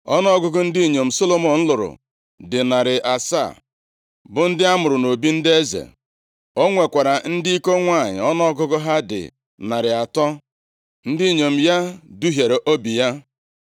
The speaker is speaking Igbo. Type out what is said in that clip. Ọnụọgụgụ ndị inyom Solomọn lụrụ dị narị asaa, bụ ndị amụrụ nʼobi ndị eze. O nwekwara ndị iko nwanyị, ọnụọgụgụ ha dị narị atọ. Ndị inyom ya duhiere obi ya.